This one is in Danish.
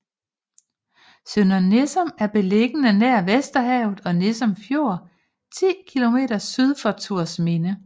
Sønder Nissum er beliggende nær Vesterhavet og Nissum Fjord 10 kilometer syd for Thorsminde